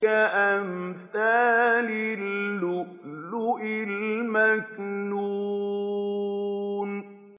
كَأَمْثَالِ اللُّؤْلُؤِ الْمَكْنُونِ